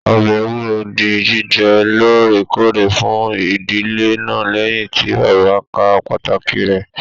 Ọbẹ ewúro dì jíjẹ lóòrèkóòrè fún ìdílé náà lẹyìn tí bàbá ká pàtàkì rẹ.